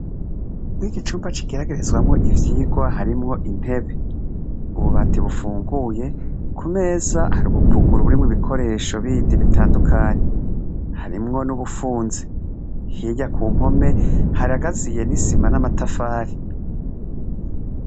mwiki cumba kigeragerezwamo ivyigwa harimwo intebe ububati bufunguye kumeza hari ubupuguru burimwo ibikoresho bindi bitandukanye harimwo n'ubufunze hirya ku mpome haragaziye n'isima n'amatafari